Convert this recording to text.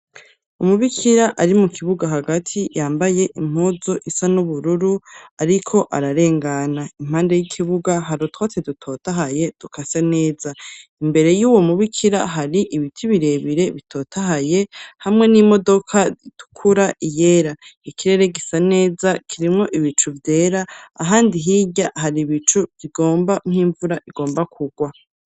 Umubikira ari mu kibuga hagati yambaye impuzu isa n'ubururu ariko ararengana. Impande y'ikibuga hari utwatsi dutotahaye dukase neza. Imbere y'uwo mubikira hari ibiti birebire bitota haye hamwe n'imodoka zitukura iyera ikirere gisa neza kirimo ibicu vyera ahandi hirya hari ibicu bigomba nk'imvura igomba kugwa.